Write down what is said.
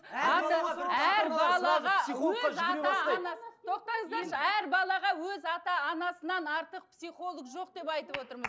тоқтаңыздаршы әр балаға өз ата анасынан артық психолог жоқ деп айтып отырмыз